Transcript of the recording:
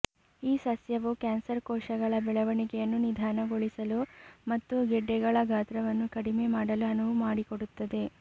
ಈ ಸಸ್ಯವು ಕ್ಯಾನ್ಸರ್ ಕೋಶಗಳ ಬೆಳವಣಿಗೆಯನ್ನು ನಿಧಾನಗೊಳಿಸಲು ಮತ್ತು ಗೆಡ್ಡೆಗಳ ಗಾತ್ರವನ್ನು ಕಡಿಮೆ ಮಾಡಲು ಅನುವು ಮಾಡಿಕೊಡುತ್ತದೆ